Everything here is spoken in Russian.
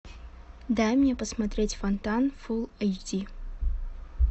дай мне посмотреть фонтан фул эйч ди